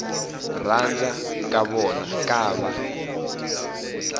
rhandza ka vona ku va